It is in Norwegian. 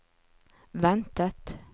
ventet